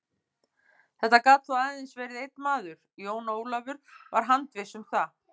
Þetta gat þó aðeins verið einn maður, Jón Ólafur var handviss um það.